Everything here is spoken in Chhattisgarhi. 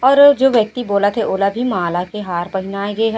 और जो व्यक्ति बोलत हे ओला भी माला के हार पहिना गे ह--